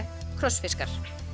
krossfiskar